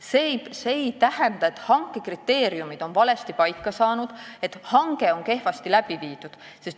See ei tähenda, et hanke kriteeriumid on valesti paika pandud, et hange on kehvasti läbi viidud.